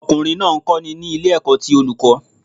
Ọkùnrin náà ń kọ́ni ní ilé ẹ̀kọ́ ti Olùkọ́